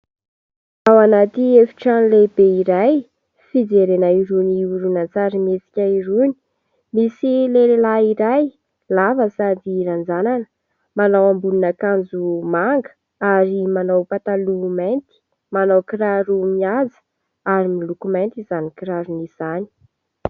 Ao anaty efitrano lehibe iray fijerena irony horonantsarimihetsika irony, misy lehilahy iray lava sady ranjanana, manao ambonin'akanjo manga ary manao pataloha mainty, manao kiraro mihaja ary miloko mainty izany kiraro izany.